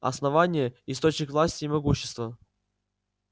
основание источник власти и могущества